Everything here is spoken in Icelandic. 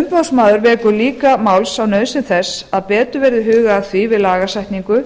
umboðsmaður vekur líka máls á nauðsyn þess að betur verði hugað að því við lagasetningu